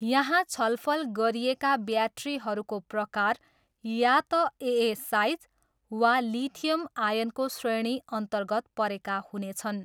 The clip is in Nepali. यहाँ छलफल गरिएका ब्याट्रीहरूको प्रकार या त एए साइज वा लिथियम आयनको श्रेणीअन्तर्गत परेका हुनेछन्।